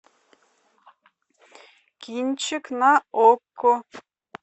кинчик на окко